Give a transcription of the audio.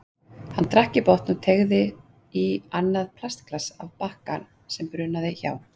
Hann drakk í botn og teygði sig í annað plastglas af bakka sem brunaði hjá.